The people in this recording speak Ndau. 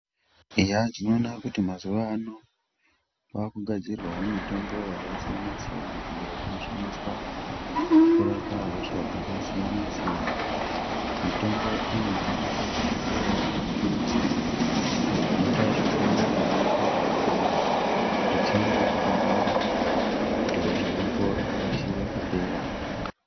Eya tinoona kuti mazuvano kwakugadzirwawo mitombo yakasiyana siyana iyo inoshandiswa kurapa hosha dzaka siyana siyana. Mitombo iyi inosanganisirawo mapilizi anoita zvekumwiwa nemvura kana kutsenga akadaro kuti hosha yako ikasire kupera.